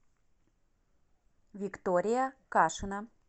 виктория кашина